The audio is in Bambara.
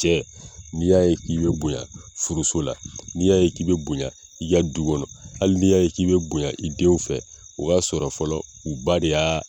Cɛ n'i y'a ye k'i be bonya furuso la n'i y'a k'i be bonya i ka du kɔnɔ ali n'i y'a k'i be bonya i denw fɛ o b'a sɔrɔ fɔlɔ u ba de